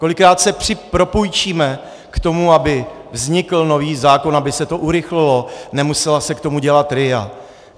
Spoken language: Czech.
Kolikrát se propůjčíme k tomu, aby vznikl nový zákon, aby se to urychlilo, nemusela se k tomu dělat RIA.